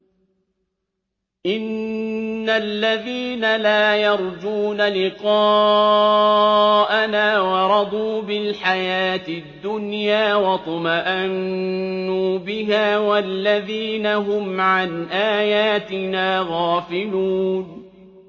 إِنَّ الَّذِينَ لَا يَرْجُونَ لِقَاءَنَا وَرَضُوا بِالْحَيَاةِ الدُّنْيَا وَاطْمَأَنُّوا بِهَا وَالَّذِينَ هُمْ عَنْ آيَاتِنَا غَافِلُونَ